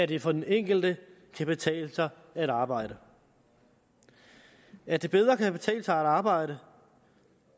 det for den enkelte kan betale sig at arbejde at det bedre kan betale sig at arbejde